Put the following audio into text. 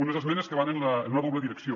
unes esmenes que van en una doble direcció